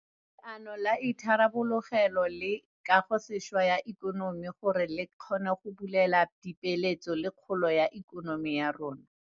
Leano la Itharabologelo le Kagosešwa ya Ikonomi gore le kgone go bulela dipeeletso le kgolo ya ikonomi ya rona.